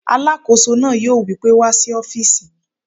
Alàkóso náà yóò wí pé "wá sí ọ́fìsì mi!"